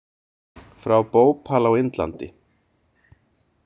Frá Bhopal á Indlandi.